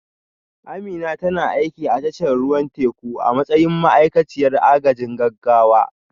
Amina tana aiki a tashar ruwan teku a matsayin ma'aikaciyar agajin gaggawa